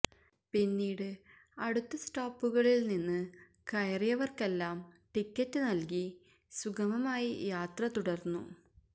പിന്നീട് അടുത്ത സ്റ്റോപ്പുകളില് നിന്ന് കയറിയവര്ക്കെല്ലാം ടിക്കറ്റ് നല്കി സുഗമമായി യാത്ര തുടര്ന്നു